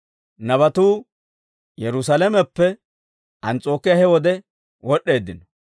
Nabatuu Yerusaalameppe Ans's'ookiyaa he wode wod'd'eeddino.